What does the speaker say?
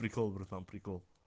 прикол братан прикол